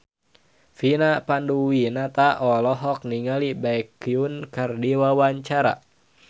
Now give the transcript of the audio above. Vina Panduwinata olohok ningali Baekhyun keur diwawancara